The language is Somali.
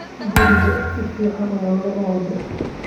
Guriga si fiican ayaa loo ooday